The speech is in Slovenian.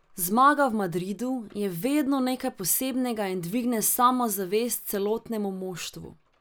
Zmaga v Madridu je vedno nekaj posebnega in dvigne samozavest celotnemu moštvu.